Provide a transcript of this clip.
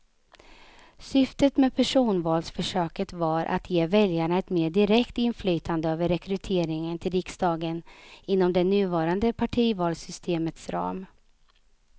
Syftet med personvalsförsöket var att ge väljarna ett mer direkt inflytande över rekryteringen till riksdagen inom det nuvarande partivalssystemets ram.